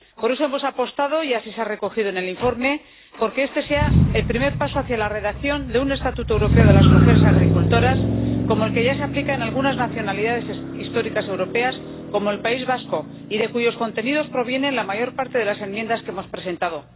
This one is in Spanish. Por eso, hemos apostado —y así se ha recogido en el informe— por que este sea el primer paso hacia la redacción de un Estatuto europeo de las mujeres agricultoras, como el que ya se aplica en algunas nacionalidades históricas europeas como el País Vasco, y de cuyos contenidos proviene la mayor parte de las enmiendas que hemos presentado.